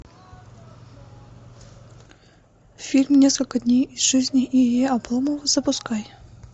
фильм несколько дней из жизни ильи обломова запускай